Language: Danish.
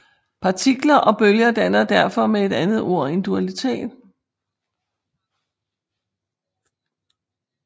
Partikler og bølger danner derfor med et andet ord en dualitet